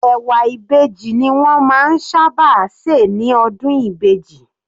Ẹ̀wà Ìbejì ni wọ́n máa ń sábà se ní ọdún Ìbejì.